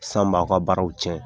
San b'a ka baaraw cɛn